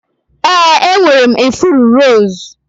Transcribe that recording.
Ee, enwere m ifuru rose.